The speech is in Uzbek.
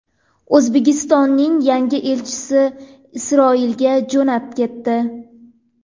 O‘zbekistonning yangi elchisi Isroilga jo‘nab ketdi.